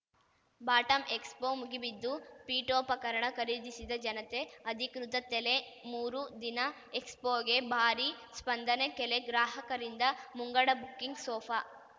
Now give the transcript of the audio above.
ಬಾಟಂಎಕ್ಸ್‌ಫೋ ಮುಗಿಬಿದ್ದು ಪೀಠೋಪಕರಣ ಖರೀದಿಸಿದ ಜನತೆ ಅಧಿಕೃತ ತೆಲೆ ಮೂರು ದಿನ ಎಕ್ಸ್‌ಪೋಗೆ ಭಾರೀ ಸ್ಪಂದನೆ ಕೆಲೆ ಗ್ರಾಹಕರಿಂದ ಮುಂಗಡ ಬುಕ್ಕಿಂಗ್‌ ಸೋಫಾ